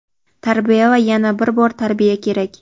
tarbiya va yana bir bor tarbiya kerak.